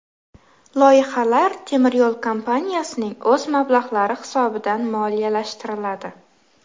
Loyihalar temiryo‘l kompaniyasining o‘z mablag‘lari hisobidan moliyalashtiriladi.